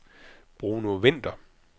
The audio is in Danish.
Bruno Vinther